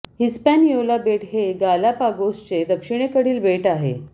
Hispaniola बेट हे गालापागोसचे दक्षिणेकडील बेट आहे